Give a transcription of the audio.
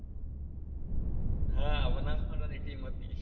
હા બનાસકાંઠા ની team હતી